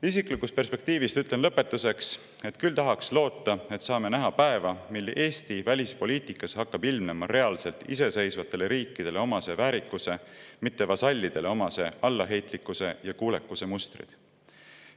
Isiklikust perspektiivist ütlen lõpetuseks, et küll tahaks loota, et saame näha päeva, mil Eesti välispoliitikas hakkab ilmnema reaalselt iseseisvatele riikidele omase väärikuse, mitte vasallidele omase allaheitlikkuse ja kuulekuse mustreid.